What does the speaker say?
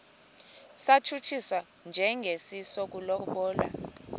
satshutshiswa njengesi sokulobola